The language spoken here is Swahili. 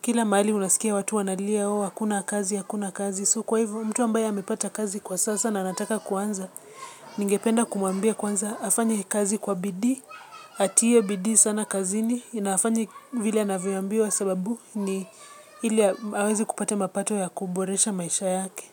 Kila mahali unasikia watu wanalia ooh, hakuna kazi, hakuna kazi. So kwa hivo, mtu ambaye amepata kazi kwa sasa na anataka kuanza, ningependa kumuambia kwanza hafanye kazi kwa bidii, atie bidii sana kazini, na hafanye vile anavyoambiwa sababu ni ili aanze kupata mapato ya kuboresha maisha yake.